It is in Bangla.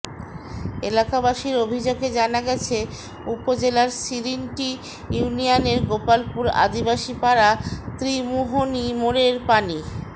এলাকাবাসীর অভিযোগে জানা গেছে উপজেলার শিরন্টি ইউনিয়নের গোপালপুর আদিবাসী পাড়া ত্রিমুহনী মোড়ের পানি